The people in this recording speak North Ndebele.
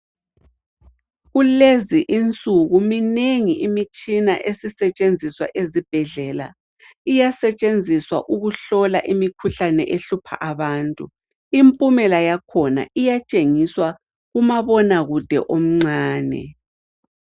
Kulezi insuku minengi imitshina esisetshenziswa ezibhedlela. Iyasetshenziswa ukuhlola imikhuhlane ehlupha abantu. Impumela yakhona iyatshengiswa kumabona kude omncane.